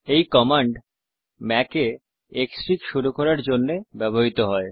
এই command Mac এ ক্সফিগ শুরু করার জন্যে ব্যবহৃত হয়